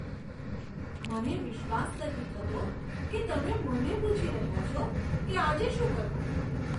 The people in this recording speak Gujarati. મને વિશ્વાસ નથી થતો કે તમે મને પૂછી રહ્યા છો કે આજે શું કરવું.